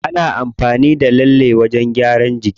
Ana amfani da lallen wajen gyaran jiki.